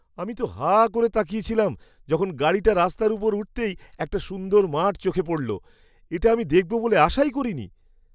আমি তো হাঁ করে তাকিয়ে ছিলাম যখন গাড়িটা রাস্তার উপর উঠতেই একটা সুন্দর মাঠ চোখে পড়ল। এটা আমি দেখব বলে আশাই করিনি।